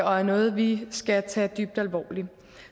og er noget vi skal tage dybt alvorligt